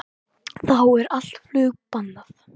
Þá er allt flug bannað